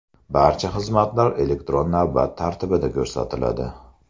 Barcha xizmatlar elektron navbat tartibida ko‘rsatiladi.